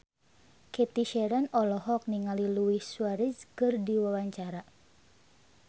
Cathy Sharon olohok ningali Luis Suarez keur diwawancara